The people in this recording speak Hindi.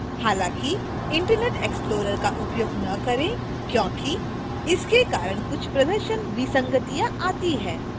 हालांकि internet explorer का उपयोग न करें क्योंकि इसके कारण कुछ प्रदर्शन विसंगतियां आती हैं